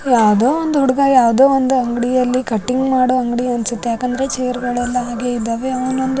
ಯಾವ್ದೋ ಒಂದು ಹುಡುಗ ಯಾವ್ದೋ ಒಂದು ಅಂಗ್ಡಿಯಲ್ಲಿ ಕಟ್ಟಿಂಗ್ ಮಾಡೋ ಅಂಗ್ಡಿ ಅನ್ಸುತ್ತೆ ಯಾಕಂದ್ರೆ ಚೇರ್ ಗಳೆಲ್ಲ ಹಾಗೆ ಇದಾವೆ ಅವ್ನೊಂದು--